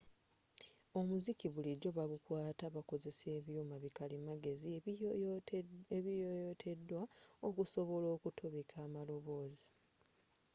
omuziki bulijjo bagukwata bakozesa ebyuma bi kalimagezi ebiyoyotedwa okusobola okutobeka amaloboozi